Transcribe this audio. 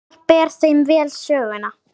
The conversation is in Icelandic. Hólmar ber þeim vel söguna.